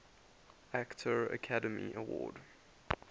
actor academy award